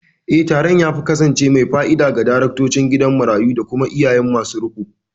Eh, taron ya kasance mai fa'ida ga daraktocin gidan marayu da kuma iyaye masu riƙo.